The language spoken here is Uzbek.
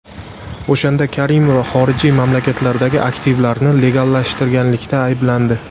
O‘shanda Karimova xorijiy mamlakatlardagi aktivlarni legallashtirganlikda ayblandi.